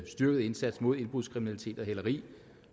styrket indsats mod indbrudskriminalitet og hæleri